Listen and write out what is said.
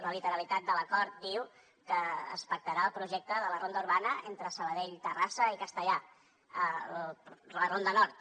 la literalitat de l’acord diu que es pactarà el projecte de la ronda urbana entre sabadell terrassa i castellar la ronda nord